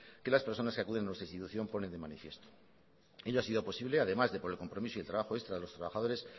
que las personas que acuden a nuestra institución ponen de manifiesto ello ha sido posible además de por el compromiso y el trabajo extra de los trabajadores